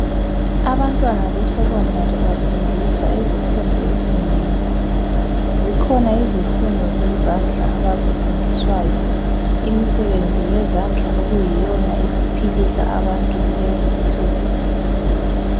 Abantwana besecondary bafundiswa izifundo ezinengi. Zikhona izifundo zezandla abazifundiswayo zona, imisebenzi yezandla eyiyona ephilisa abantu kulezinsuku